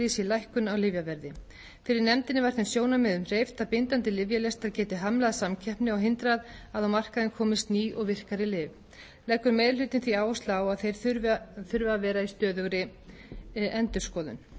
í sér lækkun á lyfjaverði fyrir nefndinni var þeim sjónarmiðum hreyft að bindandi lyfjalistar geti hamlað samkeppni og hindrað að á markaðinn komist ný og virkari lyf leggur meiri hlutinn því áherslu á að þeir þurfa að vera í stöðugri endurskoðun nefndin ræddi